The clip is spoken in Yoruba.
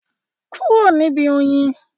Kúrò níbi oyin?